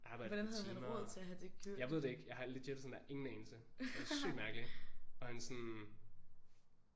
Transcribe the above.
Arbejdede et par timer jeg ved det ikke jeg har legit sådan der ingen anelse sygt mærkeligt og han sådan